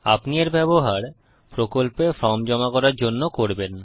আপনি এর ব্যবহার প্রকল্পে ফর্ম জমা করার জন্য করবেন